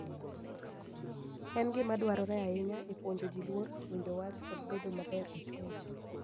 En gima dwarore ahinya e puonjo ji luor, winjo wach, kod bedo maber e chuny.